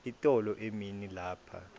itolo emini lapha